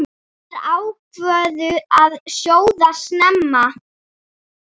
Þær ákváðu að sjóða snemma.